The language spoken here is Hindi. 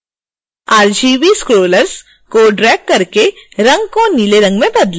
rgb scrollers को ड्रैग करके रंग को नीले रंग में बदलें